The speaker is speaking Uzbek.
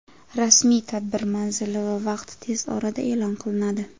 Rasmiy tadbir manzili va vaqti tez orada e’lon qilinadi.